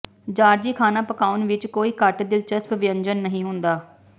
Georgie ਖਾਣਾ ਪਕਾਉਣ ਵਿੱਚ ਕੋਈ ਘੱਟ ਦਿਲਚਸਪ ਵਿਅੰਜਨ ਨਹੀਂ ਹੁੰਦਾ